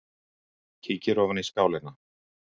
Kíkir ofan í skálina.